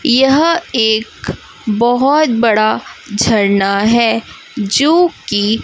यह एक बहोत बड़ा झरना है जोकि--